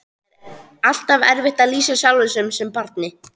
Það er alltaf erfitt að lýsa sjálfum sér sem barni.